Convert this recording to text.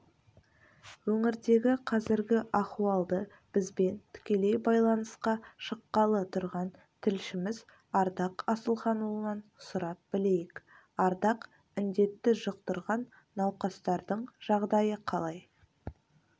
өңірдегі қазіргі ахуалды бізбен тікелей байланысқа шыққалы тұрған тілшіміз ардақ асылханұлынан сұрап білейік ардақ індетті жұқтырған науқастардың жағдайы қалай